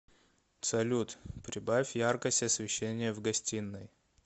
салют прибавь яркость освещения в гостиной